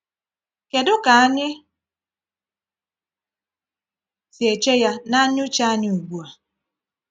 Kedu ka anyị si eche Ya n’anya uche anyị ugbu a?